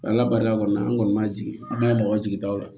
Ala barika kɔni an kɔni ma jigin an b'a mɔgɔ jigi daw la